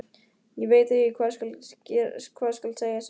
Ég veit ekki hvað skal segja sagði hann.